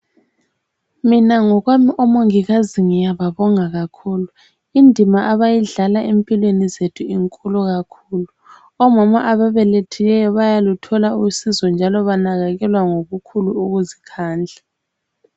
Mina ngokwami omongikazi ngiyababonga kakhulu. Indima abayidlala empilweni zethu inkulu kakhulu. Omama ababelethileyo bayaluthola usizo njalo banakekelwa ngokukhulu ukuzikhandla.